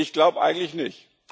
Ich glaube eigentlich nicht.